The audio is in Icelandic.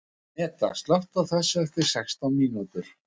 Meda, slökktu á þessu eftir sextán mínútur.